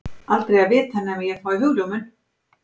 Aldrei að vita nema ég fái hugljómun.